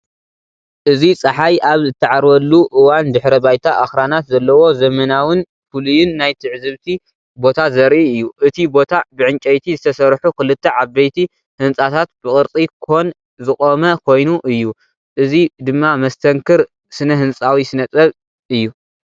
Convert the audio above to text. እዚ ጸሓይ ኣብ እትዓርበሉ እዋን ድሕረ ባይታ ኣኽራናት ዘለዎ ዘመናውን ፍሉይን ናይ ትዕዝብቲ ቦታ ዘርኢ እዩ። እቲ ቦታ ብዕንጨይቲ ዝተሰርሑ ክልተ ዓበይቲ ህንጻታት ብቅርጺ ኮን ዝቖመ ኮይኑ እዩ። እዚ ድማ መስተንክር ስነ ህንጻዊ ስነ ጥበብ እዩ።